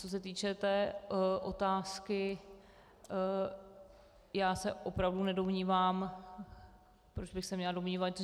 Co se týče té otázky, já se opravdu nedomnívám - proč bych se měla domnívat?